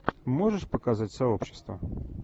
можешь показать сообщество